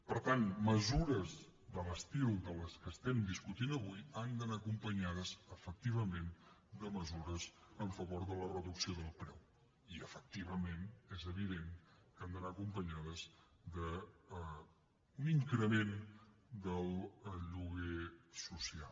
per tant mesures de l’estil de les que estem discutint avui han d’anar acompanyades efectivament de mesures en favor de la reducció del preu i efectivament és evident que han d’anar acompanyades d’un increment del lloguer social